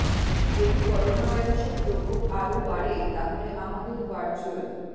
যদি করোনা ভাইরাসের প্রকোপ আরও বাড়ে তাহলে আমাদের ভার্চ্যুয়াল